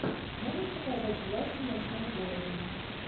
можешь показать власти в ночном городе